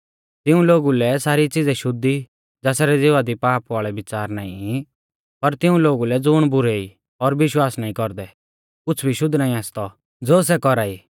तिऊं लोगु लै सारी च़िज़ै शुद्ध ई ज़ासरै ज़िवा दी पाप वाल़ै बिच़ार नाईं ई पर तिऊं लोगु लै ज़ुण बुरै ई और विश्वास नाईं कौरदै कुछ़ भी शुद्ध नाईं आसतौ ज़ो सै कौरा ई